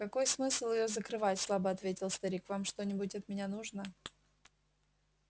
какой смысл её закрывать слабо ответил старик вам что-нибудь от меня нужно